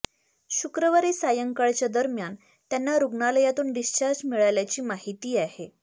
शुक्रवारी सायंकाळच्या दरम्यान त्यांना रुग्णालयातून डिस्चार्ज मिळाल्याची माहिती आहे